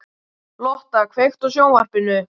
Lotta, kveiktu á sjónvarpinu.